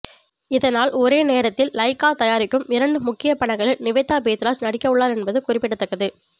இதனால் ஒரே நேரத்தில் லைகா தயாரிக்கும் இரண்டு முக்கிய படங்களில் நிவேதா பேத்ராஜ் நடிக்கவுள்ளார் என்பது குறிப்பிடத்தக்கது